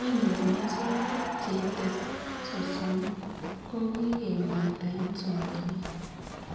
Ng'weny en nyasutik cheite sosom kogikemwaita en somanet